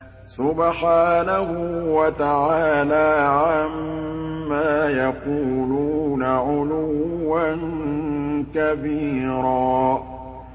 سُبْحَانَهُ وَتَعَالَىٰ عَمَّا يَقُولُونَ عُلُوًّا كَبِيرًا